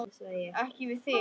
Ekki við þig.